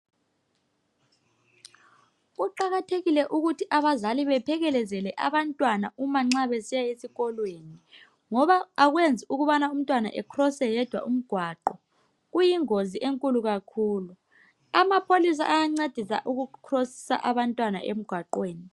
Kuqakathekile ukuthi abazali baphekelezele abantwana uma nxa besiya esikolweni ngoba akwenzi ukubana umntwana ekhrose yedwa umgwaqo kuyingozi enkulu kakhulu amapholisa ayancedisa ukukhrosisa abantwana emgwaqweni.